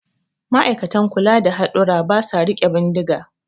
Ma'aikatan kula da hadurra ba sa riƙe bindiga